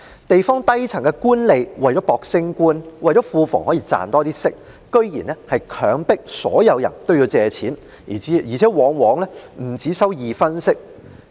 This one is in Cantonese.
地方低層官吏為了爭取晉升及令庫房可賺取更多利息，居然強迫所有人均要向官府借貸，而且利息往往不只二分。